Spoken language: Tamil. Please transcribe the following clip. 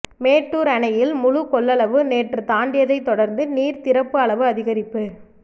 மேட்டூர் அணையில் முழு கொள்ளளவு நேற்று தாண்டியதை தொடர்ந்து நீர் திறப்பு அளவு அதிகரிப்பு